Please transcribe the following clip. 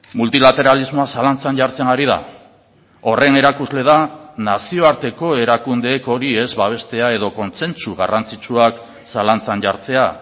multilateralismoa zalantzan jartzen ari da horren erakusle da nazioarteko erakundeek hori ez babestea edo kontsentsu garrantzitsuak zalantzan jartzea